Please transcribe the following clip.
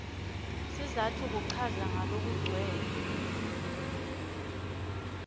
sizatfu kuchaza ngalokugcwele